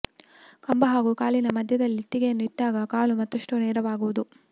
ಕಂಬ ಹಾಗೂ ಕಾಲಿನ ಮಧ್ಯದಲ್ಲಿ ಇಟ್ಟಿಗೆಯನ್ನು ಇಟ್ಟಾಗ ಕಾಲು ಮತ್ತಷ್ಟು ನೇರವಾಗುವುದು